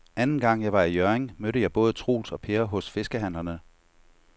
Anden gang jeg var i Hjørring, mødte jeg både Troels og Per hos fiskehandlerne.